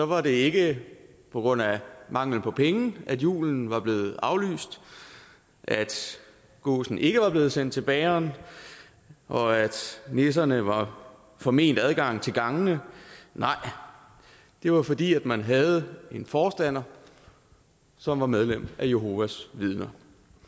var det ikke på grund af mangel på penge at julen var blevet aflyst at gåsen ikke var blevet sendt til bageren og at nisserne var forment adgang til gangene nej det var fordi man havde en forstander som var medlem af jehovas vidner